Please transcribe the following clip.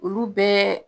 Olu bɛɛ